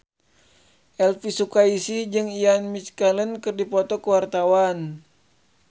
Elvy Sukaesih jeung Ian McKellen keur dipoto ku wartawan